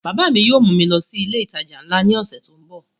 Bàbá yóò mú mi lọ sí ilé ìtajà nla ní ọ̀sẹ̀ tó ń bọ̀